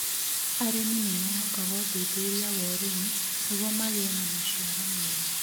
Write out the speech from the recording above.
Arĩmi nĩ mehokaga ũthuthuria wa ũrĩmi nĩguo magĩe na maciaro mega.